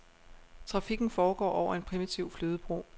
Trafikken foregår over en primitiv flydebro.